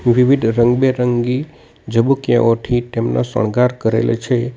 વિવિધ રંગબેરંગી ઝબૂકયાઓથી તેમનો શણગાર કરેલો છે.